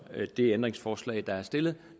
det ændringsforslag der er stillet